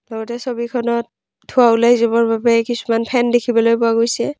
লগতে ছবিখনত ধোঁৱা ওলাই যাবৰ বাবে কিছুমান ফেন দেখিবলৈ পোৱা গৈছে।